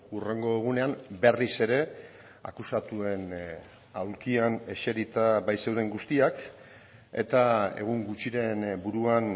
hurrengo egunean berriz ere akusatuen aulkian eserita baitzeuden guztiak eta egun gutxiren buruan